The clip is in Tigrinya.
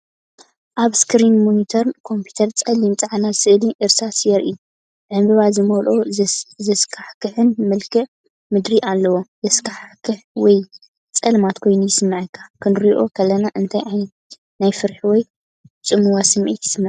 ኣብ ስክሪን ሞኒተር ኮምፒተር ጸሊምን ጻዕዳን ስእሊ እርሳስ የርኢ። ዕንበባ ዝመልኦን ዘስካሕክሕን መልክዓ ምድሪ ኣለዎ። ዘስካሕክሕ ወይ ጸልማት ኮይኑ ይስምዓካ። ክንርእዮ ከለና እንታይ ዓይነት ናይ ፍርሒ ወይ ጽምዋ ስምዒት ይስምዓና?